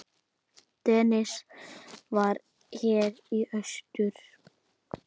Dennis var hér í austur.